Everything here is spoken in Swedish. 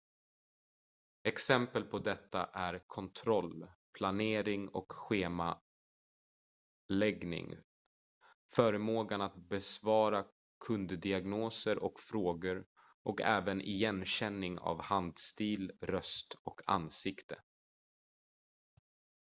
exempel på detta är kontroll planering och schemaläggning förmågan att besvara kunddiagnoser och frågor och även igenkänning av handstil röst och ansikte